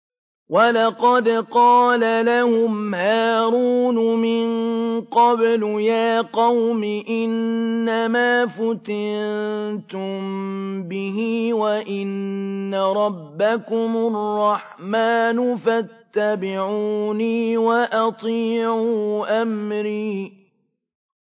وَلَقَدْ قَالَ لَهُمْ هَارُونُ مِن قَبْلُ يَا قَوْمِ إِنَّمَا فُتِنتُم بِهِ ۖ وَإِنَّ رَبَّكُمُ الرَّحْمَٰنُ فَاتَّبِعُونِي وَأَطِيعُوا أَمْرِي